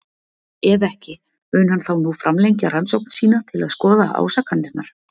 Ef ekki, mun hann þá nú framlengja rannsókn sína til að skoða ásakanirnar?